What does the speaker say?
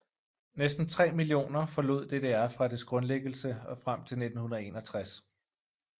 Næsten 3 millioner forlod DDR fra dets grundlæggelse og frem til 1961